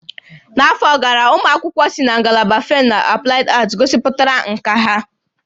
N'afọ gara, ụmụ akwụkwọ si na ngalaba Faịn na Aplaịd Aat gosipụtara nkà ha.